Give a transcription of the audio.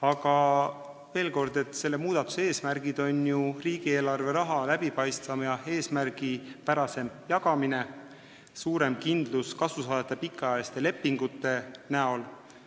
Aga veel kord: selle muudatuse eesmärgid on ju riigieelarve raha läbipaistvam ja eesmärgipärasem jagamine ning kasusaajate suurem kindlus, sest lepingud on pikaajalised.